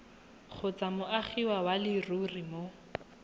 kgotsa moagi wa leruri mo